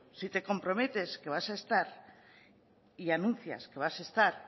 si te comprometes que vas a estar y anuncias que vas a estar